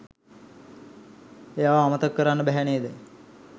එයාව අමතක කරන්න බැහැ නේද